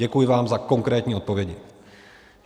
Děkuji vám za konkrétní odpovědi.